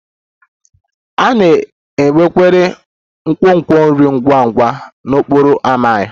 A na-enwekarị nkwonkwo nri ngwa ngwa n'okporo ámá m